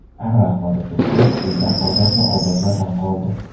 Anvar qori Tursunov: Sizdan ozod va obod vatan qoldi.